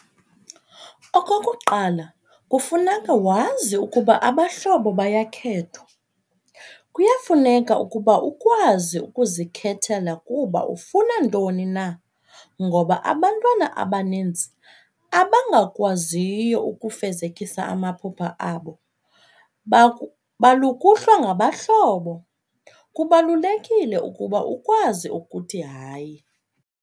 Okokuqala kufuneka wazi ukuba abahlobo bayakhethwa , kuyafuneka ukuba ukwazi ukuzikhethela kuba ufuna ntoni na ngoba abantwana abaninzi abangakwaziyo ukufezekisa amaphupha abo balukuhlwa ngabahlobo ,kubalulekile uba ukwazi ukuthi "hayi!"